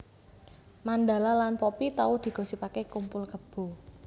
Mandala lan Poppy tau digosipake kumpul kebo